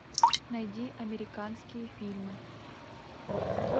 найди американские фильмы